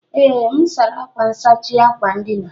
Ee, m sara akwa nsachi akwa ndina